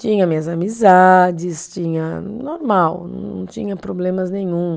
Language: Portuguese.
Tinha minhas amizades, tinha, normal, não tinha problemas nenhum.